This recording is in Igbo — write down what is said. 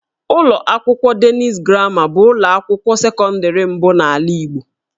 Ụlọ akwụkwọ Denis Gramma bụ ụlọ akwụkwọ sekọndịrị mbụ n'ala Igbo